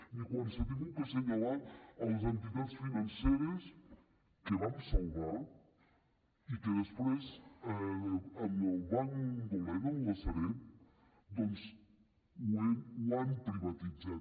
ni quan s’ha hagut d’assenyalar les entitats financeres que vam salvar i que després en el banc dolent en la sareb doncs ho han privatitzat